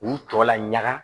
K'u tɔ laɲaga